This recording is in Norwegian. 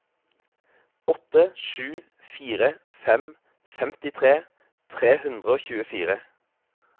åtte sju fire fem femtitre tre hundre og tjuefire